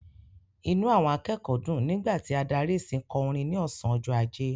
Inú àwọn akẹ́kọ̀ọ́ dùn nígbà tí adarí ìsìn kò orin ní ọ̀sán ọjọ́ ajé.